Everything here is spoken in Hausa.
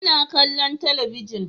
Ina kallon talabijin